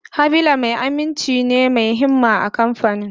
Habila ma'aikaci ne mai himma a kamfanin.